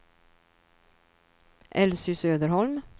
Elsy Söderholm